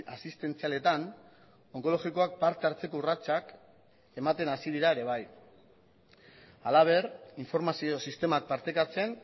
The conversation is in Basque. asistentzialetan onkologikoak parte hartzeko urratsak ematen hasi dira ere bai halaber informazio sistemak partekatzen